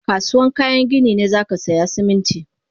Kasuwan kayan gini ne zakasaya Siminti